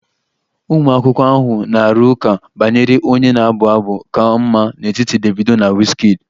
Ụmụ akwụkwọ ahụ na-arụ ụka banyere onye na-abụ abụ ka mma n'etiti Davido na wizkid